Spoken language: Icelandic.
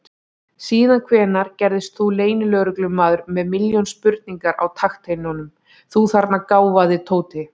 Síðan hvenær gerðist þú leynilögreglumaður með milljón spurningar á takteinum, þú þarna gáfaði Tóti!